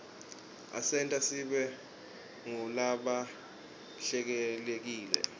asenta sibe ngulabahlelekile